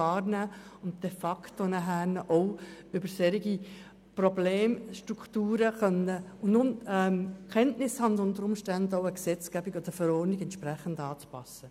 Dazu muss sie de facto auch über solche Problemstrukturen Kenntnis haben und unter Umständen auch eine Gesetzgebung oder Verordnung entsprechend anpassen.